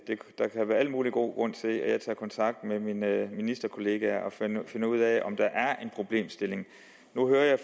der kan være al mulig god grund til at jeg tager kontakt med mine ministerkolleger for at finde ud af om der er en problemstilling nu hører jeg